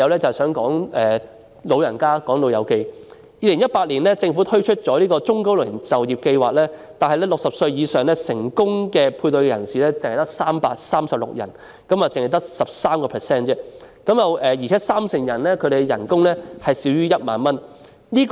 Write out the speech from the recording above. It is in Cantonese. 政府在2018年推出中高齡就業計劃，但60歲以上成功配對的只有336人，三成人士的薪酬更少於1萬元。